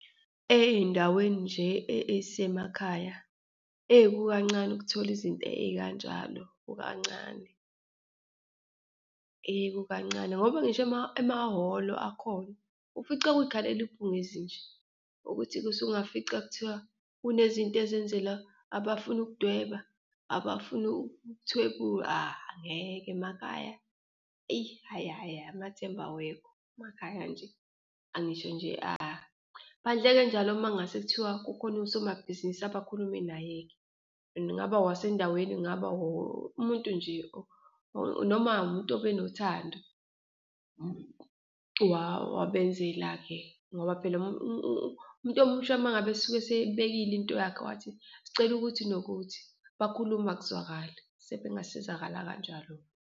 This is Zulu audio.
Eyindaweni nje eyisemakhaya eyi kukancane ukuthola izinto eyikanjalo, kukancane, kukancane. Ngoba ngisho emahholo akhona, ufica kuyikhalela ibhungezi nje, ukuthi-ke usungafica kuthiwa kunezinto ezenzelwa abafuna ukudweba, abafuna ukuthwebula, ngeke. Emakhaya? Eyi, hhayi, hhayi amathemba awekho emakhaya nje, angisho nje . Phandle-ke njalo uma kungase kuthiwa kukhona usomabhizinisi abakhulume naye-ke and kungaba owasendaweni, kungaba umuntu nje noma umuntu obenothando wabenzela-ke ngoba phela umuntu omusha uma ngabe esuke esebekile into yakhe wathi sicela ukuthi nokuthi, bakhuluma kuzwakale, sebe ngasizakala kanjalo-ke.